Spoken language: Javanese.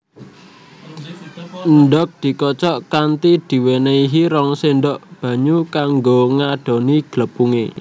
Endhog dikocok kanthi diwenenhi rong sendok banyu kanggo ngadoni glepunge